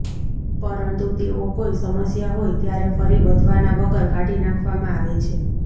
પરંતુ તેઓ કોઈ સમસ્યા હોય ત્યારે ફરી વધવાના વગર કાઢી નાખવામાં આવે છે